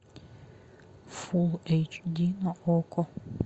фул эйч ди на окко